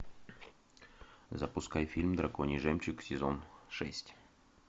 запускай фильм драконий жемчуг сезон шесть